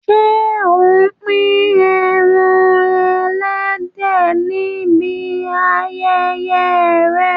Ṣé ò ń pín ẹran ẹlẹ́dẹ̀ níbi ayẹyẹ rẹ?